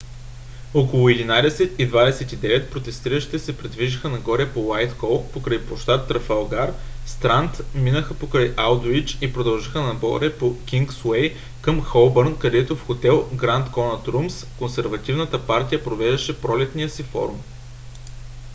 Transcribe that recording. около 11:29 протестиращите се придвижиха нагоре по уайтхол покрай площад трафалгар странд минаха покрай алдуич и продължиха нагоре по кингсуей към холбърн където в хотел гранд конът румс консервативната партия провеждаше пролетния си форум